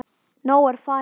Nói er farinn.